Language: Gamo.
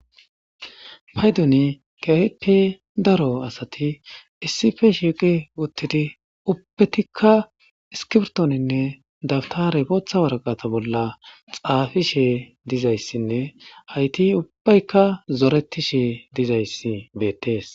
paydoni kaepe daro asati issife shiiqi wottidi ubbetikka iskibtooninne dabtare potha waraqata bolla xaafi she dizayssinne ayti ubbaykka zoreti she dizayssi beettees.